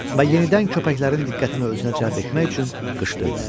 Və yenidən köpəklərin diqqətini özünə cəlb etmək üçün qışqırdı.